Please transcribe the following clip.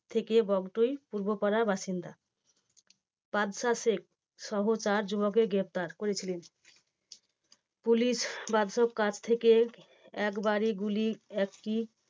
থেকে বগটুই পূর্বপাড়ার বাসিন্দা। বাদশাহ শেখ সহ চার যুবককে গ্রেপ্তার করেছিলেন পুলিশ বাদশাহ থেকে একবারই গুলি একই